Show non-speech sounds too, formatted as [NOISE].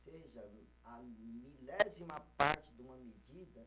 [UNINTELLIGIBLE] A milésima parte de uma medida